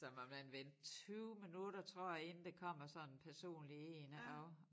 Så må man vente 20 minutter tror jeg inden der kommer sådan personlig én og